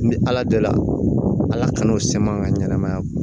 N bɛ ala dɔ la ala kan'o sɛma an ka ɲɛnɛmaya